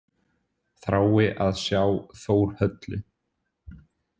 Þrái að sjá Þórhöllu.